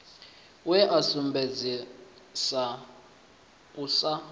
we a sumbedzesa u sa